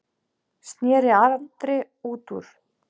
sneri Andri út úr.